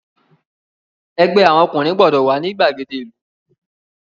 Ẹgbẹ́ àwọn ọkùnrin gbọ́dọ̀ wà ní ìgbàgede ìlú!